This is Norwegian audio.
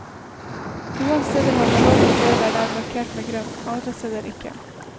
Noen steder har man lov å kjøre der det er markert med grønt, andre steder ikke.